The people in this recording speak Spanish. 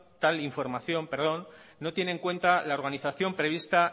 tal información perdón no tiene en cuenta la organización prevista